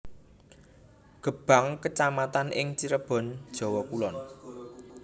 Gebang kecamatan ing Cirebon Jawa Kulon